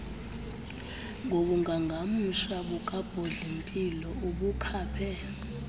ngobungangamsha bukabhodlimpilo ubakhaphe